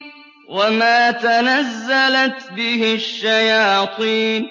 وَمَا تَنَزَّلَتْ بِهِ الشَّيَاطِينُ